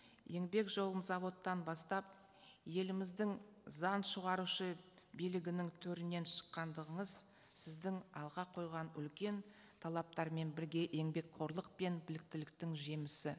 еңбек жолын заводтан бастап еліміздің заң шығарушы билігінің төрінен шыққандығыңыз сіздің алға қойған үлкен талаптармен бірге еңбекқорлық пен біліктіліктің жемісі